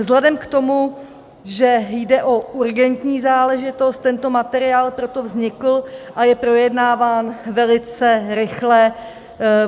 Vzhledem k tomu, že jde o urgentní záležitost, tento materiál proto vznikl a je projednáván velice rychle.